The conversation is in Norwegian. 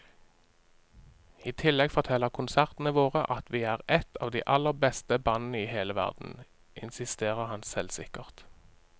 I tillegg forteller konsertene våre at vi er et av de aller beste bandene i hele verden, insisterer han selvsikkert.